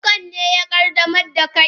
Bokan ne ya qaddamar da kai?